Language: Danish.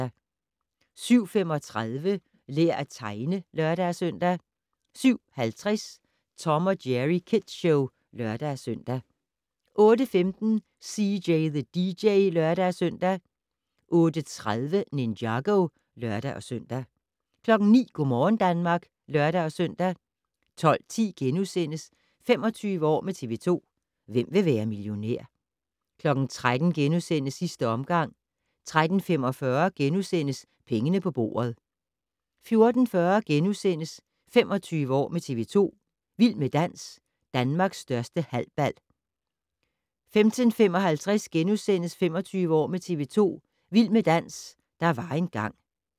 07:35: Lær at tegne (lør-søn) 07:50: Tom & Jerry Kids Show (lør-søn) 08:15: CJ the DJ (lør-søn) 08:30: Ninjago (lør-søn) 09:00: Go' morgen Danmark (lør-søn) 12:10: 25 år med TV 2: Hvem vil være millionær? * 13:00: Sidste omgang * 13:45: Pengene på bordet * 14:40: 25 år med TV 2: Vild med dans - Danmarks største halbal * 15:55: 25 år med TV 2: Vild med dans - der var engang *